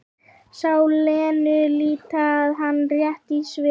Sá Lenu líta á hana rétt í svip.